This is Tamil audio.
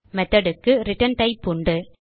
Methodக்கு ரிட்டர்ன் டைப் உண்டு